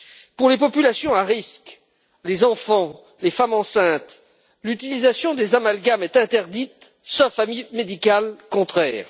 Pour les populations à risque, les enfants, les femmes enceintes, l'utilisation des amalgames est interdite, sauf avis médical contraire.